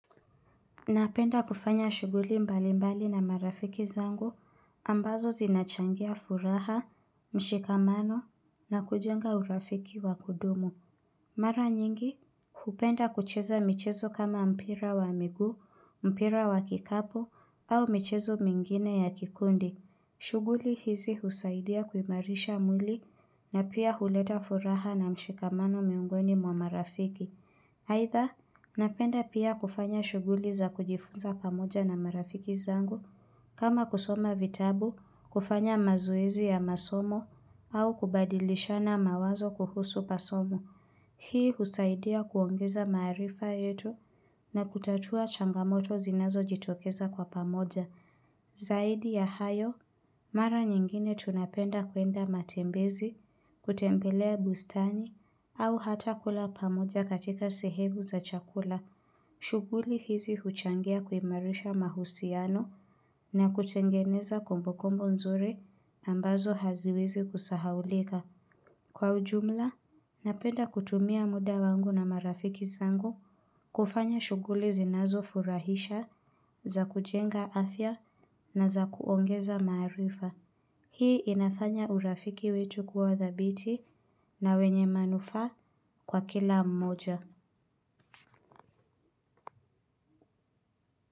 Napenda kufanya shuguli mbali mbali na marafiki zangu, ambazo zinachangia furaha, mshikamano, na kujenga urafiki wa kudumu. Mara nyingi, hupenda kucheza michezo kama mpira wa miguu, mpira wa kikapu, au michezo mingine ya kikundi. Shuguli hizi husaidia kuimarisha mwili, na pia huleta furaha na mshikamano miongoni mwa marafiki. Haitha, napenda pia kufanya shuguli za kujifunza pamoja na marafiki zangu, kama kusoma vitabu, kufanya mazoezi ya masomo, au kubadilisha mawazo kuhusu masomo. Hii husaidia kuongeza maarifa yetu na kutatua changamoto zinazo jitokeza kwa pamoja. Zaidi ya hayo, mara nyingine tunapenda kwenda matembezi, kutembelea bustani, au hata kula pamoja katika sehemu za chakula. Shuguli hizi huchangia kuimarisha mahusiano na kutengeneza kombokombo nzuri ambazo haziwezi kusahaulika. Kwa ujumla, napenda kutumia muda wangu na marafiki zangu kufanya shuguli zinazo furahisha za kujenga afya na za kuongeza maarifa. Hii inafanya urafiki wetu kuwa thabiti na wenye manufaa kwa kila mmoja.